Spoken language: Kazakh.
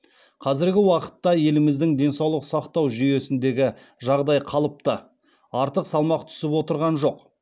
қазіргі уақытта еліміздің денсаулық сақтау жүйесіндегі жағдай қалыпты артық салмақ түсіп отырған жоқ